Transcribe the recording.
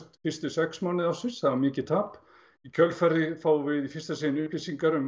fyrstu sex mánuði ársins það var mikið tap í kjölfarið fáum við í fyrsta sinn upplýsingar um